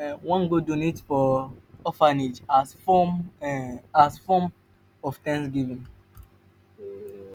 um wan go donate for orphanage as form um as form um of thanksgiving